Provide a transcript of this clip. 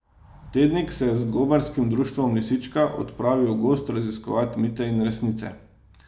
Tednik se je z gobarskim društvom Lisička odpravil v gozd raziskovat mite in resnice.